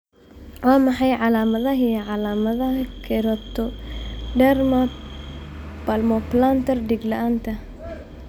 Waa maxay calaamadaha iyo calaamadaha Keratoderma palmoplantar dhega la'aanta?